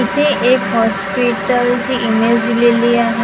इथे एक ची इमेज दिलेली आहे अ --